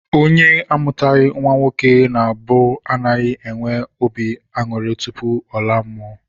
Onye amụtaghị nnwa nwoke na mbụ anaghị enwe obi aṅụrị tupu ọ laa mmụọ